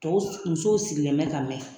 Tɔw musow sigilen bɛ ka mɛɛn